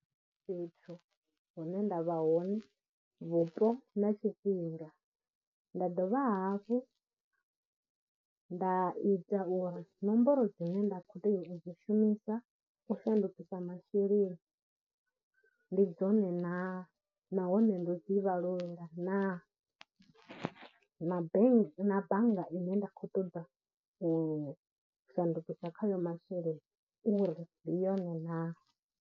Fhethu hune nda vha hone, vhupo na tshifhinga, nda dovha hafhu nda ita uri nomboro dzine nda khou tea u dzi shumisa u shandukisa masheleni ndi dzone na, nahone ndo dzi vhalela na, na bank, na bannga ine nda khou ṱoḓa u shandukisa khayo masheleni uri ndi yone na.